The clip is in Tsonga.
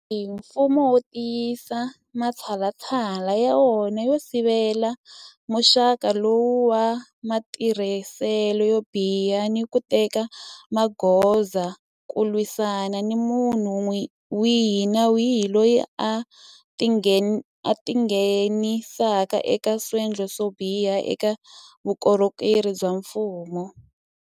Sweswi mfumo wu tiyisisa matshalatshala ya wona yo sivela muxaka lowu wa matirhiselo yo biha ni ku teka magoza ku lwisana ni munhu wihi ni wihi loyi a tingheni saka eka swendlo swo biha eka vukorhokeri bya mfumo.